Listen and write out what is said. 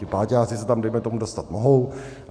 Ti páťáci se tam, dejme tomu, dostat mohou.